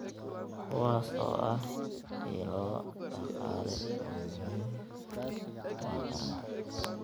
kuwaas oo ah ilo dhaqaale oo muhiim u ah taranta.